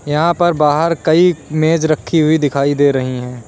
यहां पर बाहर कई मेज रखी हुई दिखाई दे रही हैं।